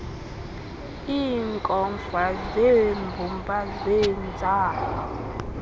iinkomfa zeembumba zeentsapho